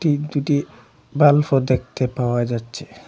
বাল্বও দেখতে পাওয়া যাচ্ছে।